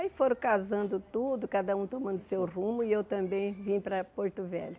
Aí foram casando tudo, cada um tomando seu rumo, e eu também vim para Porto Velho.